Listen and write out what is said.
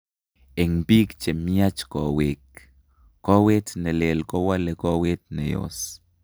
Eng' biik chemiach koweek, koweet nelel kowole koweet neyos